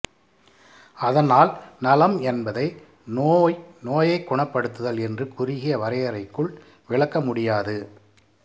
அதனால் நலம் என்பதை நோய் நோயை குணப்படுத்தல் என்ற குறுகிய வரையறைக்குள் விளக்க முடியாது